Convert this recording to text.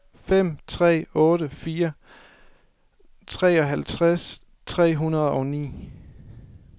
fem tre otte fire treoghalvtreds tre hundrede og ni